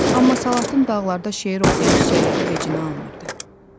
Amma salatın dağlarda şeir oxuyan çiçəkləri vecinə almırdı.